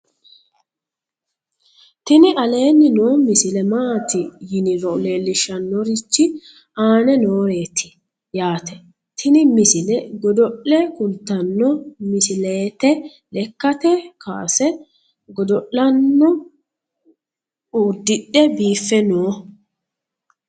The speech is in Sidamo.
tini aleenni noo misile maati yiniro leellishshannorichi aane nooreeti yaate tini misile godo'le kultanno misileete lekkkate kaase godo'lano uddidhe biiffe no